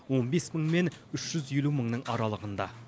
он бес мың мен үш жүз елу мыңның аралығында